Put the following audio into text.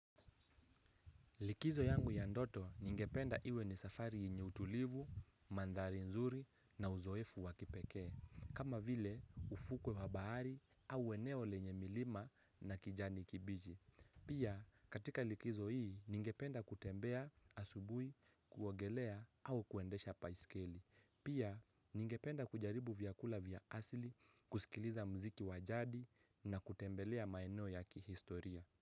Likizo yangu ya ndoto ningependa iwe ni safari yenye utulivu, mandhari nzuri na uzoefu wa kipekee. Kama vile ufukwe wa bahari au eneo lenye milima na kijani kibiji. Pia katika likizo hii ningependa kutembea asubuhi kuogelea au kuendesha baiskeli. Pia ningependa kujaribu vyakula vya asili, kusikiliza mziki wajadi na kutembelea maeneo ya kihistoria.